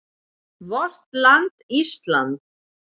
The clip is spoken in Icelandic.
VORT LAND ÍSLAND